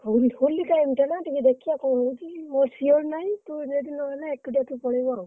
ଆହୁରି ହୋଲି time ଟା ନା ଟିକେ ଦେଖିଆ କଣ ହଉଛି ମୁଁ sure ନାଇଁ। ତୁ ଯଦି ନହେଲା ଏକୁଟିଆ ତୁ ପଳେଇବୁ ଆଉ।